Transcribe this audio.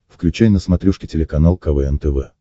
включай на смотрешке телеканал квн тв